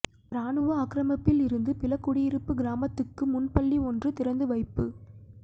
இராணுவ ஆக்கிரமிப்பில் இருந்த பிலக்குடியிருப்பு கிராமத்துக்கு முன்பள்ளி ஒன்று திறந்து வைப்பு